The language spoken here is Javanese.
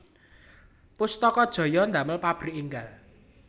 Pustaka Jaya ndamel pabrik enggal